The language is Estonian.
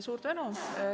Suur tänu!